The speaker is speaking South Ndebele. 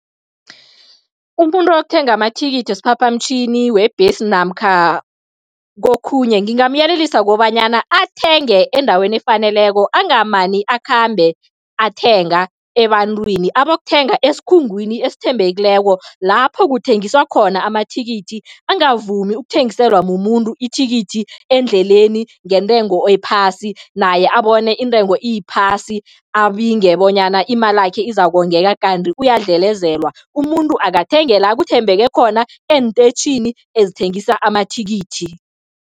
Umuntu othenga amathikithi wesiphaphamtjhini, webhesi namkha kokhunye, ngingamyelelisa kobanyana athenge endaweni efaneleko, angamani akhambe athenga ebantwini. Abokuthenga esikhungweni esithembekileko, lapho kuthengiswa khona amathikithi, angavumi ukuthengiselwa mumuntu ithikithi endleleni ngentengo ephasi, naye abone intengo iphasi, abinge bonyana imalakhe izakongeka kanti uyadlelezelwa. Umuntu akathenge la kuthembeke khona, eenteyitjhini ezithengisa amathikithi.